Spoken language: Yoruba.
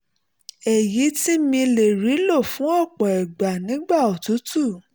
èyí tí mi lè rí lò fún ọ̀pọ̀ ìgbà nígbà òtútù